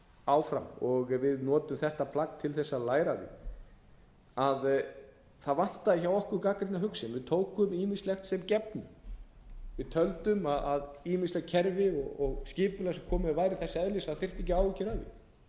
áfram og við notum þetta plagg til þess að læra af því það vantaði hjá okkur gagnrýna hugsun við tókum ýmislegu sem gefnu við töldum að ýmisleg kerfi og skipulag sem komið var væri þess eðlis að það þyrfti ekki